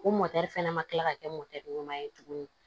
O fɛnɛ ma kila ka kɛ ɲuman ye tuguni